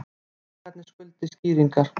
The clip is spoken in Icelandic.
Bankarnir skuldi skýringar